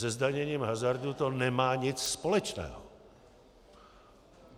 Se zdaněním hazardu to nemá nic společného.